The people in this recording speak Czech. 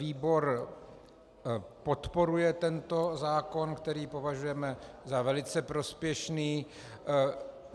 Výbor podporuje tento zákon, který považujeme za velice prospěšný.